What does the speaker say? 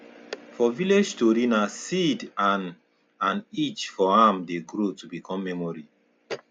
for village tori na seed and and each for am dey grow to become memory